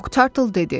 Moktartl dedi: